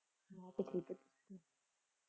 ਮੈਂ ਤਾਂ ਠੀਕ ਹੈਂ।